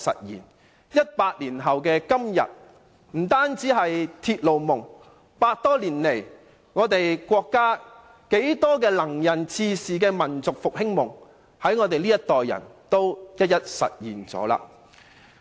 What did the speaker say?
一百年後的今天，不單是鐵路夢，就連100多年來國家多位能人志士的民族復興夢，也在我們這個世代一一實現了。